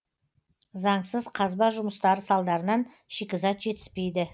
заңсыз қазба жұмыстары салдарынан шикізат жетіспейді